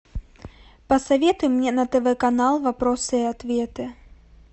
посоветуй мне на тв канал вопросы и ответы